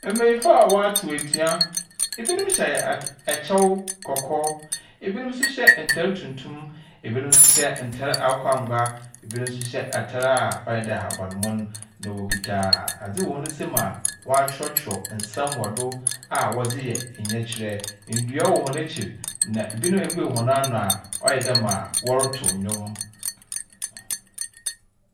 Mmɛnyinfo a watsew etua, ebinom hyɛ ɛkyɛw kɔkɔɔ, ebinom so hyɛ ntar tuntum, ebinom nso hyɛ ntar akokɔ angwa, ebinom nso hyɛ atar a ɔyɛ dɛ ahabanmono. Na wokita adze wɔ wɔnsam a wakyorɔ tworɔw nsɛm wɔdi a wɔdze yɛ ɔyɛkyerɛ. Ndua wɔ wɔn ekyir. Ebinom abue wɔn ano a ɔyɛ dɛ wɔretow ndwom.